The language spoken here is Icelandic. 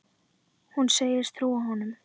Hún segist trúa honum.